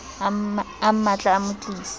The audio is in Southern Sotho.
a mmatle a mo tlise